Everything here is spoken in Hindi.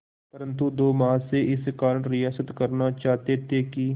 परंतु दो महाशय इस कारण रियायत करना चाहते थे कि